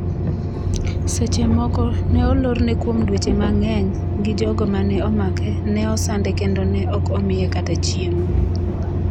Seche moko, ne olorne kuom dweche mang’eny gi jogo mane omake, ne osande kendo ne ok omiye kata chiemo .